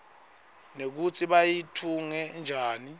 nekutsi bayitfunge njani